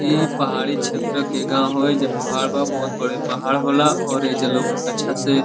इ पहाड़ी क्षेत्र के गाँव ह। एइजा पहाड़ बा। बहुत बड़े पहाड़ होला और एइजा लोग अच्छा से --